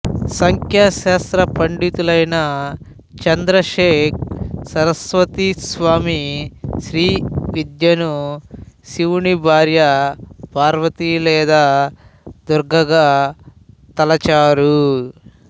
సాంఖ్యశాస్త్ర పండితులైన చంద్రశేఖ సరస్వతి స్వామి శ్రీవిద్యను శివుని భార్య పార్వతి లేదా దుర్గగా తలచారు